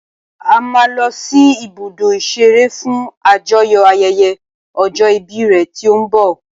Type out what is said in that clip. A máa lọ sí ibùdó ìṣeré fún àjọyò ayẹyẹ ọjọ́ ìbí rẹ tí ó ń bọ̀.